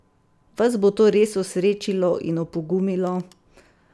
Vas bo to res osrečilo in opogumilo?